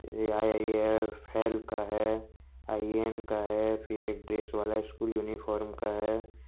ये आई_आई_एफ_एल का है आई_एन का है फिर एक ड्रेस वाला यूनिफार्म का है।